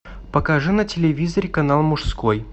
покажи на телевизоре канал мужской